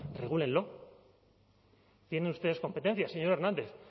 regúlenlo tienen ustedes competencias señor hernández